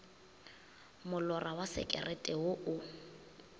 molora wa sekerete wo o